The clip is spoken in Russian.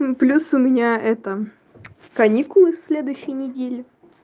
ну плюс у меня это каникулы с следующей недели